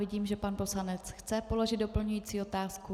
Vidím, že pan poslanec chce položit doplňující otázku.